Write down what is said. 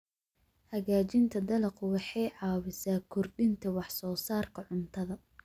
Hagaajinta dalaggu waxay caawisaa kordhinta wax soo saarka cuntada.